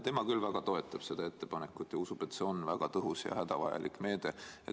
Tema küll väga toetab seda ettepanekut ja usub, et see on väga tõhus ja hädavajalik meede.